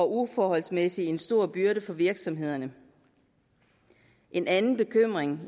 uforholdsmæssig stor byrde for virksomhederne en anden bekymring